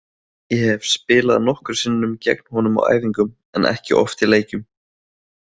Ég hef spilað nokkrum sinnum gegn honum á æfingum en ekki oft í leikjum.